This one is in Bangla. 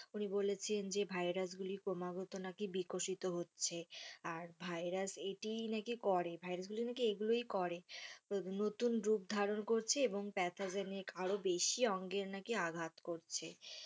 উনি বলেছেন যে ভাইরাস গুলি নাকি ক্রমাগত নাকি বিকশিত হচ্ছে আর ভাইরাস এটিই নাকি করে ভাইরাস গুলো নাকি এগুলোই করে নতুন রূপ ধারণ করছে এবং pathogenic নিয়ে কারো বেশি অঙ্গের নাকি আঘাত করছে,